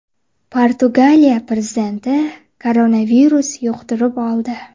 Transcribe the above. Portugaliya prezidenti koronavirus yuqtirib oldi.